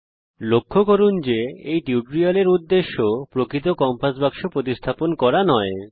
দয়া করে লক্ষ্য করুন যে এই টিউটোরিয়ালের উদ্দেশ্য প্রকৃত কম্পাস বাক্স প্রতিস্থাপন করা নয়